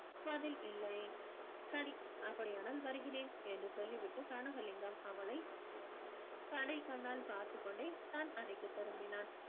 பதில் இல்லை சரி அப்படியானால் வருகிறேன் என்று சொல்லி விட்டு கனகலிங்கம் அவளை கடைக்கண்ணால் பார்த்துக்கொண்டே தன் அறைக்கு திரும்பினான்